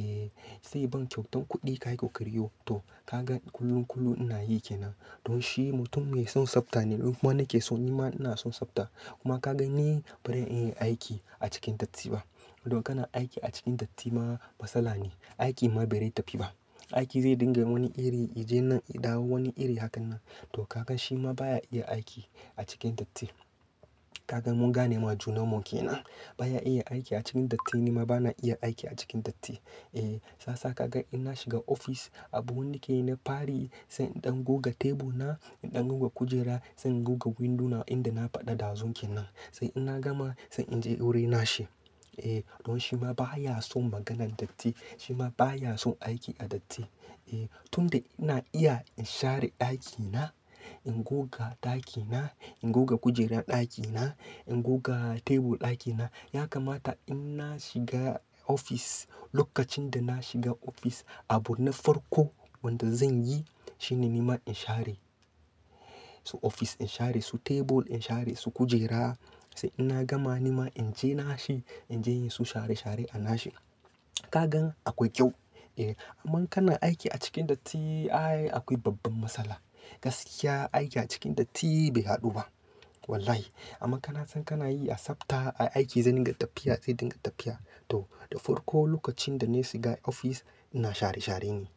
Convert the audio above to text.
Eh, sai ban kyautan kuɗi. "Ka yi kokari yau." To ka gan kullum, kullum ina yi ke nan. Don shi mutum mai son tsabta ne. Kuma na ke so, nima ina son tsabta. Kuma ka gan ni ba ren iya yin aiki a cikin datti ba. Don kana aiki a cikin datti ma matsala ne. Aikin ma ba re tafi ba. Aiki zai dinga wani iri ya je nan, ya dawo wani iri. Haka nan. To ka gan shi ma baya iya aiki a cikin datti. Ka gan mun gane ma junan mu kenan. Ba ya iya aiki a cikin datti nima ba na iya aiki a cikin datti. Eh sasa ka gan in na shiga ofis abun wanda na ke yi na fari sai in ɗan goga tebul na, in ɗan goga kujera, sai in goga windo na inda na faɗa ɗazun ke nan. Sai in na gama sai in je wurin nashi. Eh, don shi ma baya son maganan datti. Shima baya son aiki a datti. Eh, tun da ina iya in share ɗakina, in goga ɗakina, in goga kujerar ɗakina, in goga tebul ɗakina. Ya kamata in na shiga ofis lokacin da na shiga ofis abu na farko wanda zan yi shine nima in share su ofis, in share su tebul, in share su kujera. Sai in na gama nima in je na shi, in je in yi su share share a na shi. Ka gan akwai kyau. Eh, amma ka na aiki a cikin datti ai akwai babban matsala. Gaskiya aiki a cikin datti bai haɗu ba. Wallahi. Amma ka na san kana yi a tsabta aiki zai dinga tafiya sai dinga tafiya. To, da farko lokacin da na shiga ofis ina share share ne.